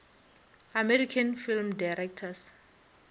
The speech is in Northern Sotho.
american film directors